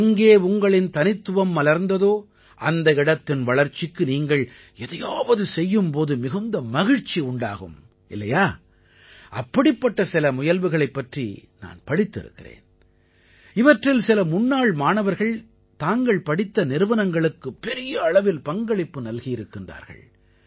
எங்கே உங்களின் தனித்துவம் மலர்ந்ததோ அந்த இடத்தின் வளர்ச்சிக்கு நீங்கள் எதையாவது செய்யும் போது மிகுந்த மகிழ்ச்சி உண்டாகும் இல்லையா அப்படிப்பட்ட சில முயல்வுகளைப் பற்றி நான் படித்திருக்கிறேன் இவற்றில் சில முன்னாள் மாணவர்கள் தாங்கள் படித்த நிறுவனங்களுக்குப் பெரிய அளவில் பங்களிப்பு நல்கியிருக்கிறார்கள்